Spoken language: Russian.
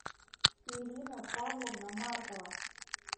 ирина павловна маркова